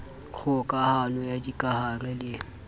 kgoka hano ya dikahare le